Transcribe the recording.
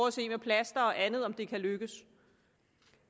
at se med plaster og andet om det kan lykkes